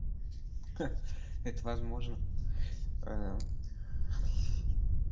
ха это возможно